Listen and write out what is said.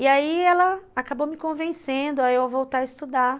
E aí ela acabou me convencendo a eu voltar a estudar.